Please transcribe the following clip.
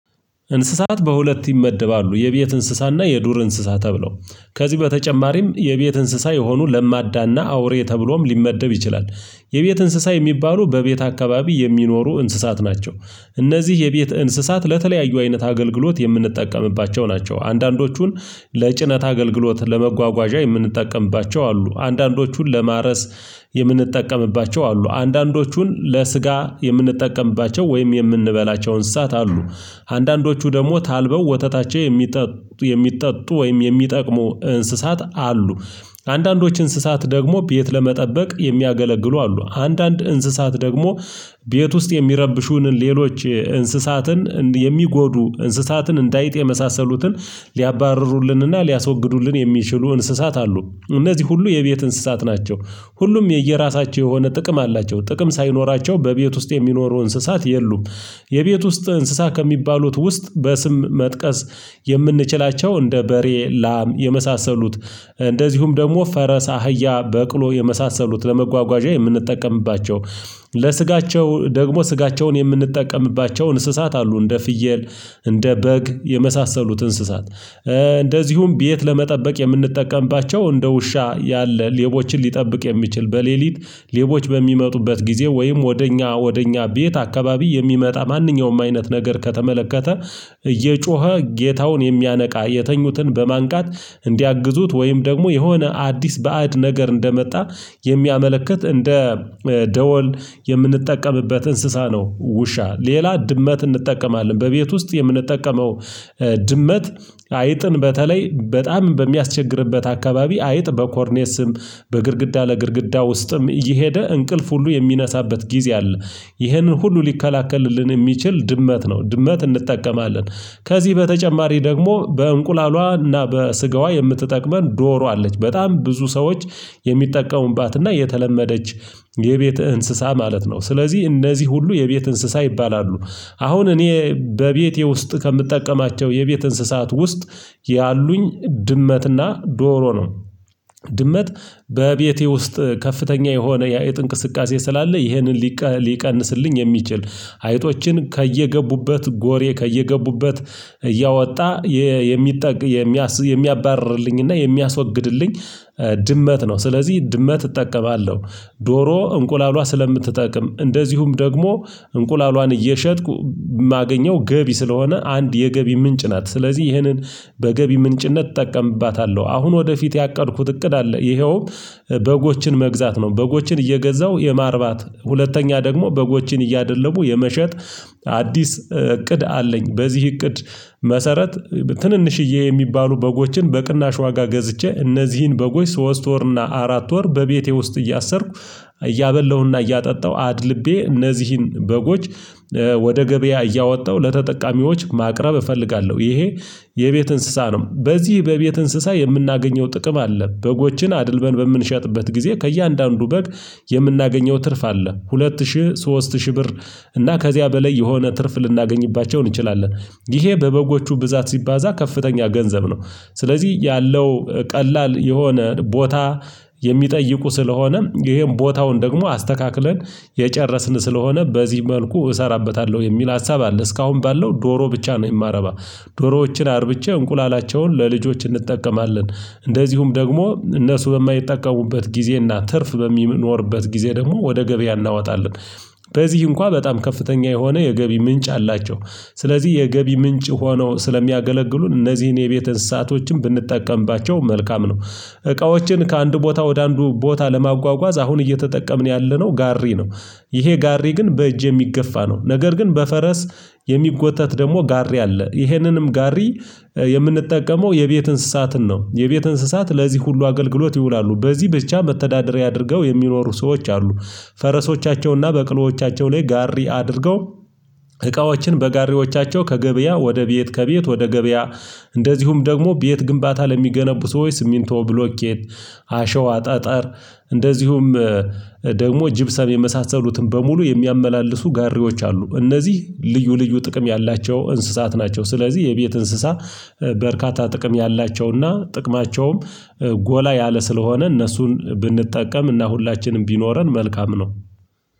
እንስሳት በሁለት ይመደባሉ። የቤት እንስሳ እና የዱር እንስሳ ተብለው። ከዚህ በተጨማሪም የቤት እንስሳ የሆኑ ለማዳ እና አውሬ ተብሎም ሊመደብ ይችላል። የቤት እንስሳ የሚባሉ በቤት አካባቢ የሚኖሩ እንስሳት ናቸው። እነዚህ የቤት እንስሳት ለተለያዩ አይነት አገልግሎት የምንጠቀምባቸው ናቸው። አንድአንዶቹን ለጭነት አገልግሎት ለመጓጓዣ የምንጠቀምባቸው አሉ። አንዳንዶቹን ለማረስ የምንጠቀምባቸው አሉ። አንዳንዶቹን ለስጋ የምንጠቀምባቸው ወይም የምንበላቸ እንስሳት አሉ። አንዳንዶቹ ደግሞ ታልበው ወተታቸው የሚጠጡ የሚጠጡ ወይም የሚጠቅሙ እንስሳት አሉ። አንዳንዶች እንስሳት ደግሞ ቤት ለመጠበቅ የሚያገለግሉ አሉ። አንዳንድ እንስሳት ደግሞ ቤት ውስጥ የሚረብሹንን ሌሎች እንስሳትን የሚጎዱ እንስሳትን እንደ አይጥ የመሳሰሉትን ሊያባርሩልን እና ሊያስወግዱልን የሚችሉ እንስሳት አሉ። እነዚህ ሁሉ የቤት እንስሳት ናቸው። ሁሉም የየራሳቸው የሆነ ጥቅም አላቸው። ጥቅም ሳይኖራቸው በቤት ውስጥ የሚኖሩ እንስሳት የሉም። የቤት ውስጥ እንስሳ ከሚባሉት ውስጥ በስም መጥቀስ የምንችላቸው እንደ በሬ፣ ላም የመሳሰሉት እንደዚሁም ደግሞ ፈረስ፣ አህያ፣ በቅሎ የመሳሰሉት ለመጓጓዣ የምንጠቀምባቸው። ለስጋቸው ደግሞ ስጋቸውን የምንጠቀምባቸው እንስሳት አሉ እንደ ፍየል እንደ በግ የመሳሰሉት እንስሳት እንደዚሁም ቤት ለመጠበቅ የምንጠቀምባቸው እንደ ውሻ ያለ ሌቦችን ሊጠብቅ የሚችል በሌሊት ሌቦች በሚመጡበት ጊዜ ወይም ወደ እኛ ወደ እኛ ቤት አካባቢ የሚመጣ ማንኛውም አይነት ነገር ከተመለከተ እየጮኸ ጌታውን የሚያነቃ የተኙትን በማንቃት እንዲያግዙት ወይም ደግሞ የሆነ አዲስ ባዕድ ነገር እንደመጣ የሚያመለክት እንደ ደወል የምንጠቀምበት እንስሳ ነው ውሻ። ሌላ ድመት እንጠቀማለን በቤት ውስጥ የምንጠቀመው ድመት አይጥን በተለይ በጣም በሚያስቸግርበት አካባቢ አይጥ በኮርኔስም በግድግዳ ለግድግዳ ውስጥም እየሄደ እንቅልፍ ሁሉ የሚነሳበት ጊዜ አለ። ይህንን ሁሉ ሊከላከልልን የሚችል ድመት ነው። ድመት እንጠቀማለን። ከዚህ በተጨማሪ ደግሞ በእንቁላሏ እና በስጋዋ የምትጠቅመን ዶሮ አለች። በጣም ብዙ ሰዎች የሚጠቀሙባት እና የተለመደች የቤት እንስሳ ማለት ነው። ስለዚህ እነዚህ ሁሉ የቤት እንስሳ ይባላሉ። አሁን እኔ በቤቴ ውስጥ ከምጠቀማቸው የቤት እንስሳት ውስጥ ያሉኝ ድመት እና ዶሮ ነው። ድመት በቤቴ ውስጥ ከፍተኛ የሆነ የአይጥ እንቅስቃሴ ስላለ ይህንን ሊቀንስልኝ የሚችል አይጦችን ከየገቡበት ጎሬ ከየገቡበት እያወጣ የሚጠቅ የሚያባርርልኝ እና የሚያስወግድልኝ ድመት ነው። ስለዚህ ድመት እጠቀማለሁ። ዶሮ እንቁላሏ ስለምትጠቅም እንደዚሁም ደግሞ እንቁላሏን እየሸጥኩ ማገኘው ገቢ ስለሆነ አንድ የገቢ ምንጭ ናት። ስለዚህ ይህንን በገቢ ምንጭነት እጠቀምባታለሁ። አሁን ወደፊት ያቀድኩት እቅድ አለ። ይኸውም በጎችን መግዛት ነው። በጎችን እየገዛው የማርባት ሁለተኛ ደግሞ በጎችን እያደለቡ የመሸጥ አዲስ እቅድ አለኝ። በዚህ እቅድ መሰረት ትንንሽዬ የሚባሉ በጎችን በቅናሽ ዋጋ ገዝቼ እነዚህን በጎች ሶስት ወር እና አራት ወር በቤቴ ውስጥ እያሰርኩ እያበላሁ እና እያጠጣሁ አድልቤ እነዚህን በጎች ወደ ገበያ እያወጣሁ ለተጠቃሚዎች ማቅረብ እፈልጋለሁ። ይሄ የቤት እንስሳ ነው። በዚህ በቤት እንስሳ የምናገኘው ጥቅም አለ። በጎችን አድልበን በምንሸጥበት ጊዜ ከእያንዳንዱ በግ የምናገኘው ትርፍ አለ። ሁለት ሺህ ሶስት ሺህ ብር እና ከዚያ በላይ የሆነ ትርፍ ልናገኝባቸው እንችላለን። ይሄ በበጎቹ ብዛት ሲባዛ ከፍተኛ ገንዘብ ነው። ስለዚህ ያለው ቀላል የሆነ ቦታ የሚጠይቁ ስለሆነ ይሄን ቦታውን ደግሞ አስተካክለን የጨረስን ስለሆነ በዚህ መልኩ እሰራበታለሁ የሚል ሀሳብ አለ። እስካሁን ባለው ዶሮ ብቻ ነው የማረባ። ዶሮዎችን አርብቼ እንቁላላቸውን ለልጆች እንጠቀማለን። እንደዚሁም ደግሞ እነሱ በማይጠቀሙበት ጊዜና ትርፍ በሚኖርበት ጊዜ ደግሞ ወደ ገበያ እናወጣለን። በዚህ እንኳን በጣም ከፍተኛ የሆነ የገቢ ምንጭ አላቸው። ስለዚህ የገቢ ምንጭ ሆኖ ስለሚያገለግሉን እነዚህን የቤት እንስሳቶችን ብንጠቀምባቸው መልካም ነው። እቃዎችን ከአንድ ቦታ ወደ አንዱ ቦታ ለማጓጓዝ አሁን እየተጠቀምን ያለነው ጋሪ ነው። ይሄ ጋሪ ግን በእጄ የሚገፋ ነው ነገር ግን በፈረስ የሚጎተት ደግሞ ጋሪ አለ። ይሄንንም ጋሪ የምንጠቀመው የቤት እንስሳትን ነው። የቤት እንስሳት ለዚህ ሁሉ አገልግሎት ይውላሉ። በዚህ ብቻ መተዳደሪያ አድርገው የሚኖሩ ሰዎች አሉ። ፈረሶቻቸውን እና በቅሎዎቻቸው ላይ ጋሪ አድርገው እቃዎችን በጋሪዎቻቸው ከገበያ ወደ ቤት ከቤት ወደ ገበያ እንደዚሁም ደግሞ ቤት ግንባታ ለሚገነቡ ሰዎች ሲሚንቶ፣ ብሎኬት፣ አሸዋ፣ ጠጠር እንደዚሁም ደግሞ ጅብሰም የመሳሰሉትን በሙሉ የሚያመላልሱ ጋሪዎች አሉ። እነዚህ ልዩ ልዩ ጥቅም ያላቸው እንስሳት ናቸው። ስለዚህ የቤት እንስሳ በርካታ ጥቅም ያላቸው እና ጥቅማቸውም ጎላ ያለ ስለሆነ እነሱን ብንጠቀም። እና ሁላችንም ቢኖረን መልካም ነው።